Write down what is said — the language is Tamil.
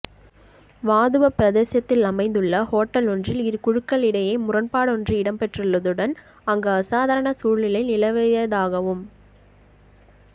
வாதுவ பிரதேசத்தில் அமைந்துள்ள ஹோட்டலொன்றில் இரு குழுக்களிடையே முரண்பாடொன்று இடம்பெற்றுள்ளதுடன் அங்கு அசாதாரண சூழ்நிலை நிலவியதாகவும்